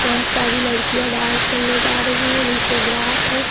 बहुत सारी लड़कियां डांस करने जा रही है नीचे ग्रास है।